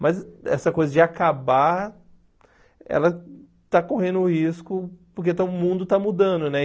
Mas essa coisa de acabar, ela está correndo risco porque está o mundo está mudando, né?